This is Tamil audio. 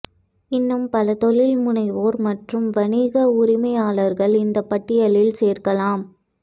இன்னும் பல தொழில் முனைவோர் மற்றும் வணிக உரிமையாளர்கள் இந்த பட்டியலில் சேர்க்கலாம்